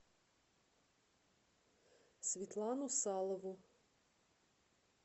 светлану салову